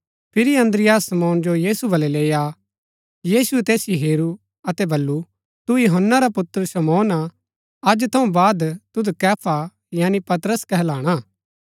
फिरी अन्द्रियास शमौन जो यीशु वलै लेई आ यीशुऐ तैसिओ हेरू अतै वलू तू यूहन्‍ना रा पुत्र शमौन हा अज थऊँ बाद तुद कैफा यानी पतरस कहलाणा